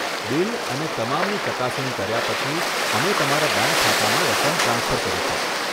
Bill અને તમામની ચકાસણી કર્યા પછી, અમે તમારા બેંક ખાતામાં રકમ ટ્રાન્સફર કરીશું.